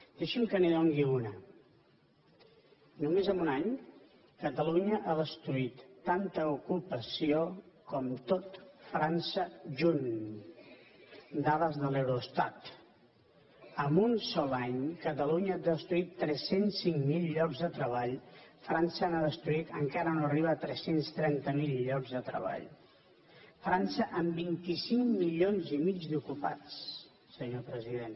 deixi’m que n’hi doni una només en un any catalunya ha destruït tanta ocupació com tot frança junt dades de l’eurostat en un sol any catalunya ha destruït tres cents i cinc mil llocs de treball frança ha destruït encara no arriba a tres cents i trenta miler llocs de treball frança amb vint cinc milions i mig d’ocupats senyor president